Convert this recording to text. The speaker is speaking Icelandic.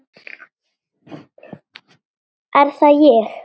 Er það ÉG??